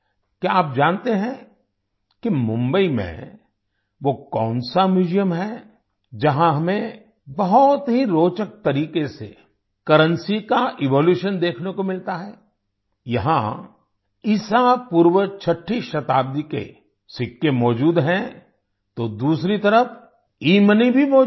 क्या आप जानते हैं कि मुंबई में वो कौन सा म्यूजियम है जहाँ हमें बहुत ही रोचक तरीके से करेंसी का इवोल्यूशन देखने को मिलता है यहाँ ईसा पूर्व छठी शताब्दी के सिक्के मौजूद हैं तो दूसरी तरफ इमोनी भी मौजूद है